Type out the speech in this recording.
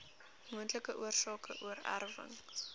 moontlike oorsake oorerwing